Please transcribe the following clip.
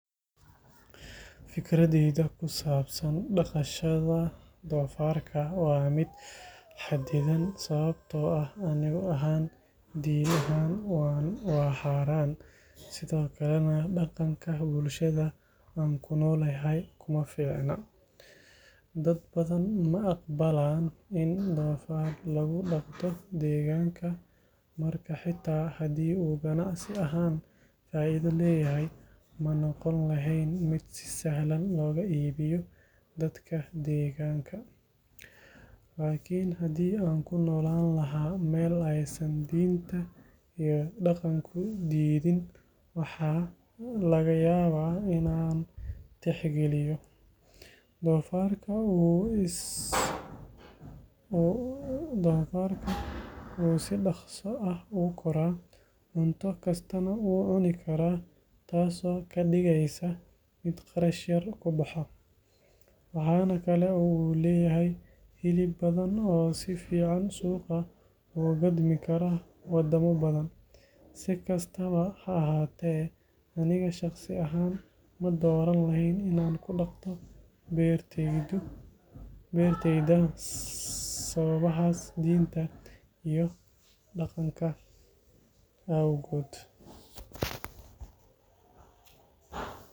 Fikraadeyda kusabsan daqashaada dofarka waa miid xadidan sawabto ah din ahan waa xaran, sithokalana daqanka bulshaada an kunolahay uma ficna, dad badan ma aqba in donfar lagu daqdo deganka marka hadii u hata ganacsi ahan faido leyahay manoqon lehen miid si sahlan loga ibiyo dadka deganka, lakin hadii an kunolan laha meel ee san dinta iyo daqanka kudidhin waxaa laga yawa in an tixgaliyo, donfarka wuxuu si daqso ah ogu koraa cunto mar kastana u cuni karaa tas oo kadigeysa miid qarash yar kubaxo waxana kale u leyahay hilib badan cuno oo sifican loga dimi karo wadamo badan sikastawa ha ahate majeclan lehen in an kudaqdo beerteyda sawabaha dintas iyo daqanka ee gud.